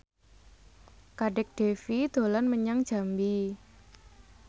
Kadek Devi dolan menyang Jambi